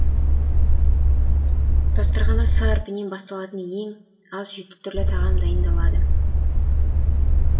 дастарханда с әрпінен басталатын ең аз жеті түрлі тағам дайындалады